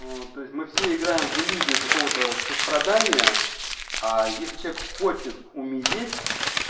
то есть мы все играем в иллюзию какого-то сострадания а если человек хочет умереть